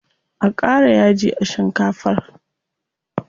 A ƙara yaji a shikafar.